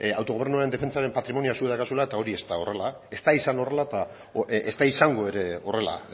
autogobernuaren defentsaren patrimonioa zuek daukazuela eta hori ez da horrela ez da izan horrela eta ez da izango ere horrela